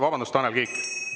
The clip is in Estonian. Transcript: Vabandust, Tanel Kiik!